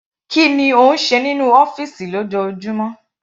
Kí ni ó ń ṣe nínú ọ́fìsì lójoojúmọ́?